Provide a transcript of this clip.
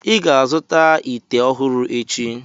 ị ga-azụta ite ọhụrụ echi!